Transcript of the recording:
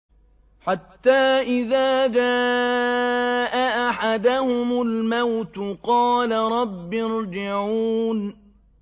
حَتَّىٰ إِذَا جَاءَ أَحَدَهُمُ الْمَوْتُ قَالَ رَبِّ ارْجِعُونِ